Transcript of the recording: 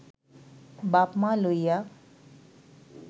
বাপ-মা লইয়া